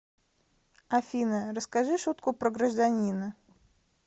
афина расскажи шутку про гражданина